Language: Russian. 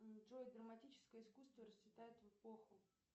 джой драматическое искусство расцветает в эпоху